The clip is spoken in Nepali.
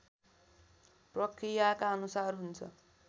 प्रक्रियाका अनुसार हुन्छ